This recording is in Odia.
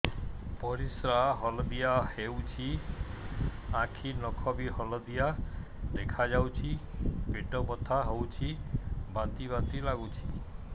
ପରିସ୍ରା ହଳଦିଆ ହେଉଛି ଆଖି ନଖ ବି ହଳଦିଆ ଦେଖାଯାଉଛି ପେଟ ବଥା ହେଉଛି ବାନ୍ତି ବାନ୍ତି ଲାଗୁଛି